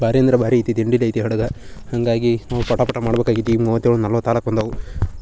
ಬಾರಿ ಅಂದ್ರೆ ಭಾರಿ ಐತಿ ಹಡಗ್ ಹಾಂಗಾಗಿ ನಾವ್ ಪಟ ಪಟ ಮಾಡ್ಬೇಕಾಗಿತ್ತು ಈಗ ಮೂವತ್ತ್ ಈವಾಗ್ ನಲವತ್ತ್ ಆಗೋಕ್ ಬಂದಾವ್